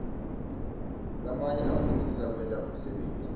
lamanye afundzisa kwenta umsebenti